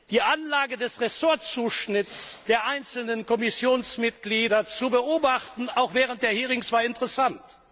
Die Anlage des Ressortzuschnitts der einzelnen Kommissionsmitglieder zu beobachten, auch während der Anhörungen, war interessant.